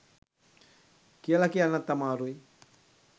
කියල කියන්නත් අමාරුයි.